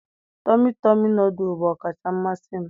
Tọmị tọmị nọdụlụ bụ ọkacha mmasị m.